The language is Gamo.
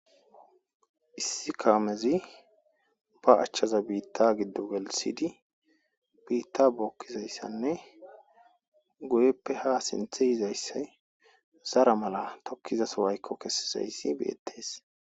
Issi kaamezi ba achchaza biitta giddo welsidi biitta bokkizayssanne goyeppe ha sinthe yizayssay zara mala tokkizaso waykko kessizayssi beyettees.